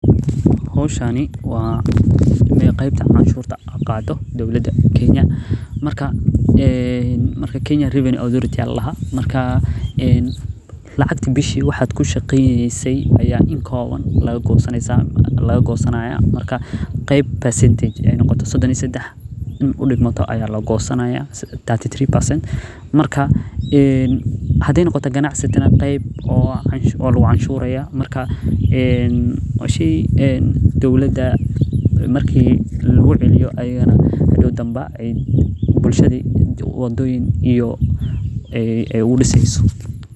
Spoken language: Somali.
Hiwshani waa qeebta cashurta qaato dalka kenya, lacagti bishi ayaa in kooban laga goynaya, marka qeeb sodon iyo sedex ayaa lagosanayaa, waa lagu canshuraha, dowlada marka lagu celiyo bulshada wadoyin aay ugu diseyso.